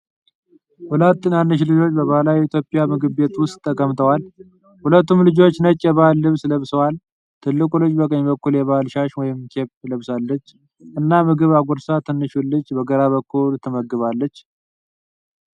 ሁለት ትናንሽ ልጆች በባህላዊ የኢትዮጵያ ምግብ ቤት ውስጥ ተቀምጠዋል። ሁለቱም ልጆች ነጭ የባህል ልብስ ለብሰዋል። ትልቁ ልጅ በቀኝ በኩል የባህል ሻሽ ወይም ኬፕ ለብሳለች እና ምግብ አጉርሳ ትንሹን ልጅ በግራ በኩል ትመግባለች።